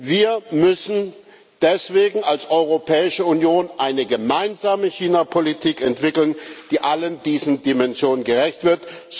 Wir müssen deswegen als Europäische Union eine gemeinsame Chinapolitik entwickeln, die allen diesen Dimensionen gerecht wird.